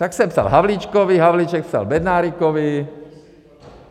Tak jsem psal Havlíčkovi, Havlíček psal Bednárikovi.